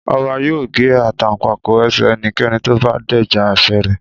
Ọba yóò gé Àtàǹpàkò ẹsẹ̀ ẹnikẹ́ni tó bá dẹ́ja àṣẹ rẹ̀